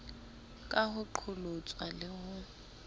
ka ho qholotswa le ho